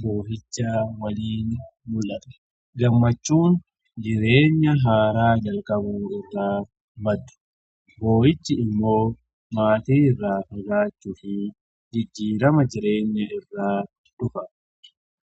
boo'icha waliin mul'ata. Gammachuun jireenya haaraa jalqabuu irraa maddu. Boo'ichi immoo maatii irraa fagaachuu fi jijjiirama jireenya irraa dhufa.